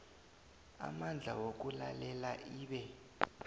amandla wokulalela ibe